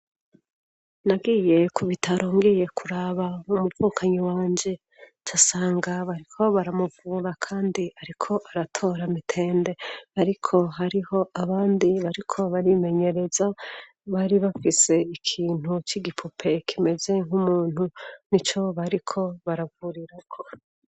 Nagiye kubitaro ngiye kuraba umuvukanyi wanje ncansanga bariko baramuvura kandi ariko aratora mitembe ariko hariho abandi bariko barimenyereza bari bafise ikintu c'igipupe kimeze nk'umuntu nico bariko baravurirako.